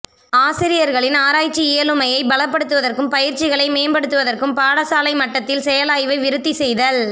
ஆசிரியர்களின் ஆராய்சி இயலுமையை பலப்படுத்துவதற்கும் பயிற்சிகளை மேம்படுத்தவதற்கும் பாடசாலை மட்டத்தில் செயலாய்வை விருத்தி செய்தல்